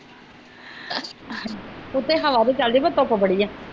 ਉਤੇ ਹਵਾਂ ਵੀ ਚਾਲ ਦੀ ਆ ਪਾਰ ਧੁੱਪ ਬੜੀ ਆ